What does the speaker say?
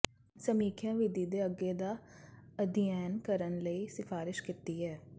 ਸਮੀਖਿਆ ਵਿਧੀ ਦੇ ਅੱਗੇ ਦਾ ਅਧਿਐਨ ਕਰਨ ਲਈ ਸਿਫਾਰਸ਼ ਕੀਤੀ ਹੈ